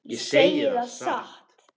Ég segi það satt.